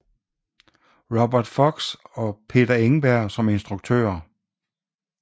Robert Fox og Peter Engberg som instruktører